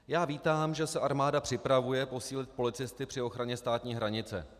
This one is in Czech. Já vítám, že se armáda připravuje posílit policisty při ochraně státní hranice.